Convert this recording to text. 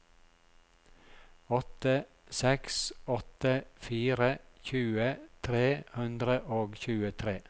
åtte seks åtte fire tjue tre hundre og tjuetre